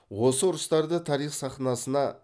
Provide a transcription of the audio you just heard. осы ұрыстарда тарих сахнасына